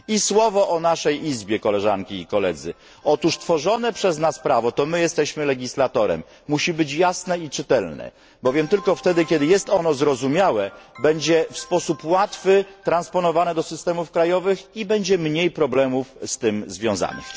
Słowo o naszym Parlamencie koleżanki i koledzy otóż tworzone przez nas prawo, to my jesteśmy legislatorem, musi być jasne i czytelne, bowiem tylko wtedy, kiedy jest ono zrozumiałe, będzie w sposób łatwy transponowane do systemów krajowych i będzie mniej problemów z tym związanych.